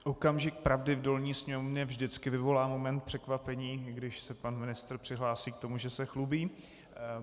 Okamžik pravdy v dolní sněmovně vždycky vyvolá moment překvapení, když se pan ministr přihlásí k tomu, že se chlubí.